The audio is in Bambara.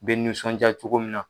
bɛ nisɔnjaa cogo min na.